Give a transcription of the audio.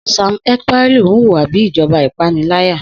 Sam Ekpaìlú ń hùwà bí ìjọba ìpániláyà